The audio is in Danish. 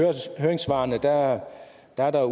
er